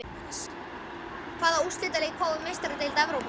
Hvaða úrslitaleik fáum við í Meistaradeild Evrópu?